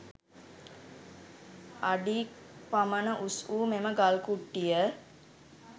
අඩි ක් පමණ උස් වූ මෙම ගල් කුට්ටිය